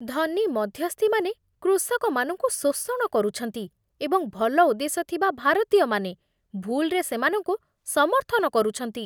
ଧନୀ ମଧ୍ୟସ୍ଥିମାନେ କୃଷକମାନଙ୍କୁ ଶୋଷଣ କରୁଛନ୍ତି ଏବଂ ଭଲ ଉଦ୍ଦେଶ୍ୟ ଥିବା ଭାରତୀୟମାନେ ଭୁଲ୍‌‌ରେ ସେମାନଙ୍କୁ ସମର୍ଥନ କରୁଛନ୍ତି।